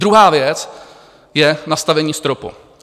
Druhá věc je nastavení stropu.